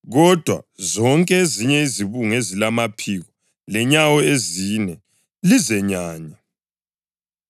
Kodwa zonke ezinye izibungu ezilamaphiko lenyawo ezine lizenyanye.